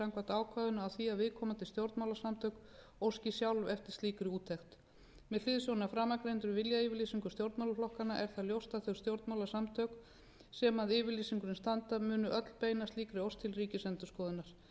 samkvæmt ákvæðinu á því að viðkomandi stjórnmálasamtök óski sjálf eftir slíkri úttekt með hliðsjón af framangreindum viljayfirlýsingum stjórnmálaflokkanna er það ljóst að þau stjórnmálasamtök sem að yfirlýsingunni standa munu öll beina slíkri ósk til ríkisendurskoðunar með sama hætti er það skilyrði